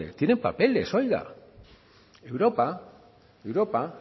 tienen papeles oiga europa